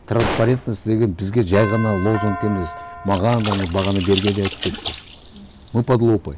транспарентность деген бізге жай ғана лозунг емес маған да мына бағана берген де айтып кетті мы под лупой